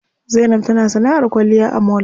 Zainab tana sanaʼar kwalliya a mall.